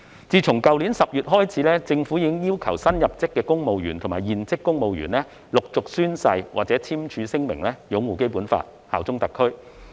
自去年10月開始，政府已經要求新入職公務員和現職公務員陸續宣誓或簽署聲明擁護《基本法》、效忠特區。